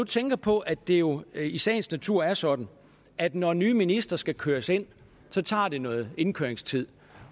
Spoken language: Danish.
tænke på at det jo i sagens natur er sådan at når nye ministre skal køres ind tager det noget indkøringstid